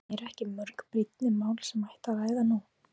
En eru ekki mörg brýnni mál sem ætti að ræða nú?